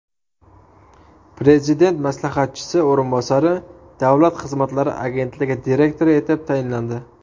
Prezident maslahatchisi o‘rinbosari Davlat xizmatlari agentligi direktori etib tayinlandi.